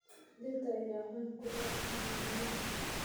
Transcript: Dhirta ayaa caan ku ah magaalooyinka.